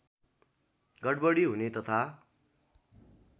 गडबडी हुने तथा